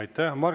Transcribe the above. Aitäh!